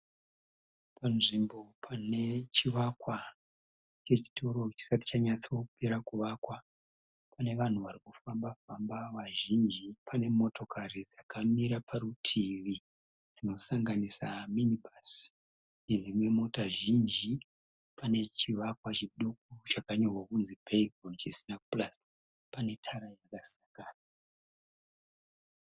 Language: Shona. Pa nzvimbo pane chivakwa che chitoro chisati chanyatsopera kuvakwa. Pane vanhu vari kufamba famba vazhinji pane motokari dzakamira parutivi dzinosanganisira minibhasi nedzimwe mota zhinji. Pane chivakwa chakanyorwawo kuti Baygon chisina kupera kupurasitwa.